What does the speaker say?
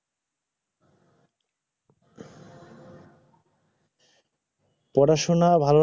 পড়াশোনা ভাল